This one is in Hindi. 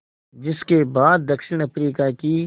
जिस के बाद दक्षिण अफ्रीका की